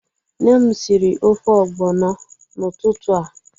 Nne m siri ofe ogbono n'ututu a.